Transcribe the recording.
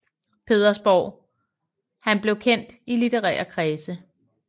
Petersborg han blev kendt i litterære kredse